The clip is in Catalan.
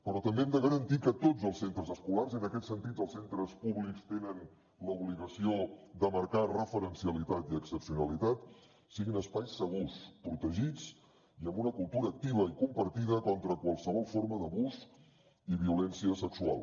però també hem de garantir que tots els centres escolars en aquest sentit els centres públics tenen l’obligació de marcar referencialitat i excepcionalitat siguin espais segurs protegits i amb una cultura activa i compartida contra qualsevol forma d’abús i violència sexual